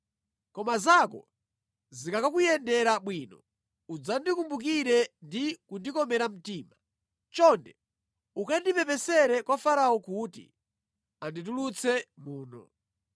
Koma zako zikakuyendera bwino, udzandikumbukire ndi kundikomera mtima. Chonde ukandipepesere kwa Farao kuti anditulutse muno.